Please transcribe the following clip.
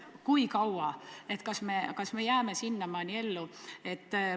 Kui kaua ikkagi tuleb kannatada – kas me jääme sinnamaani ellu?